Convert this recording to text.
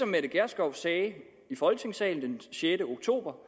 mette gjerskov sagde i folketingssalen den sjette oktober